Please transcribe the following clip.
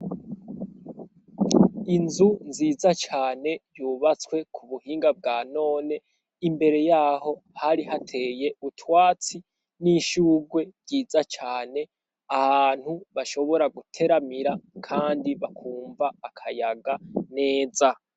Inzu nziza cane yubatswe ku buhinga bwa none imbere yaho hari hateye utwatsi n'ishugwe ryiza cane ahantu bashobora guteramira kandi bakumva akayaga neza.